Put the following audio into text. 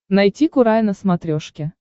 найти курай на смотрешке